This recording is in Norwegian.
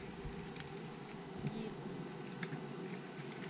gir opp